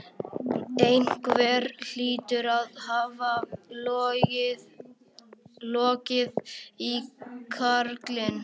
Einhver hlýtur að hafa logið í karlinn.